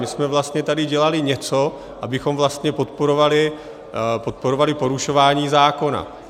My jsme vlastně tady dělali něco, abychom vlastně podporovali porušování zákona.